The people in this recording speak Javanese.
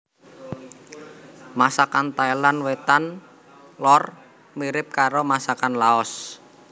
Masakan Thailand Wétan lor mirip karo masakan Laos